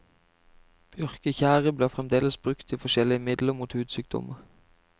Bjørketjære blir fremdeles brukt i forskjellige midler mot hudsykdommer.